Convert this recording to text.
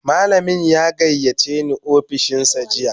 Malamin ya gayyace ni ofishinsa jiya